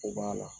O b'a la